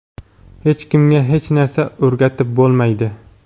Hech kimga hech narsa o‘rgatib bo‘lmaydi.